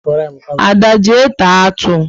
Ada, jee taa atụ!